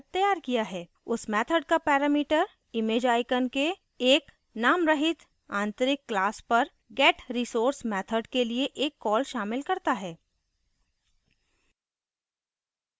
उस method का parameter imageicon के एक नामरहित आंतरिक class पर getresource method के लिए एक कॉल शामिल करता है